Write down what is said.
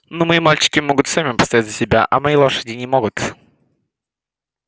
но мои мальчики могут сами постоять за себя а мои лошади не могут